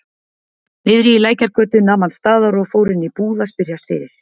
Niðri í Lækjargötu nam hann staðar og fór inn í búð að spyrjast fyrir.